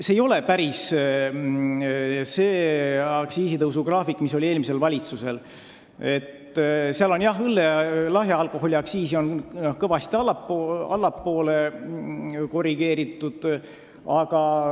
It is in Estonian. See ei paku päris seda aktsiisitõusugraafikut, mis oli eelmisel valitsusel, aga lahja alkoholi aktsiisi on kõvasti allapoole korrigeeritud.